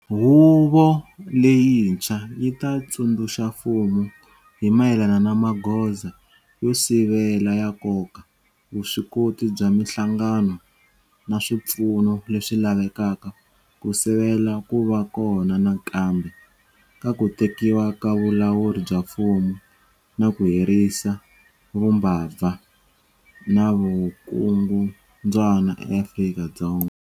Huvo leyintshwa yi ta tsundzuxa mfumo hi mayelana na magoza yo sivela ya nkoka, vuswikoti bya mihlangano na swipfuno leswi lavekaka ku sivela ku va kona nakambe ka ku tekiwa ka vulawuri bya mfumo na ku herisa vumbabva na vukungundzwana eAfrika-Dzonga.